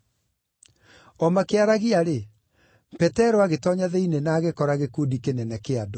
O makĩaragia-rĩ, Petero agĩtoonya thĩinĩ na agĩkora gĩkundi kĩnene kĩa andũ.